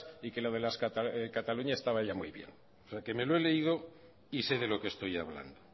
y que lo de la cataluña estaba ya muy bien me lo he leído y sé de lo que estoy hablando